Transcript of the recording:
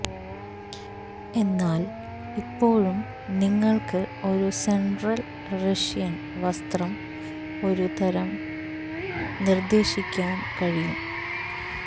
എന്നാൽ ഇപ്പോഴും നിങ്ങൾക്ക് ഒരു സെൻട്രൽ റഷ്യൻ വസ്ത്രം ഒരു തരം നിർദ്ദേശിക്കാൻ കഴിയും